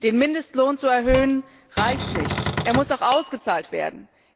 Den Mindestlohn zu erhöhen, reicht nicht, er muss auch ausgezahlt werden.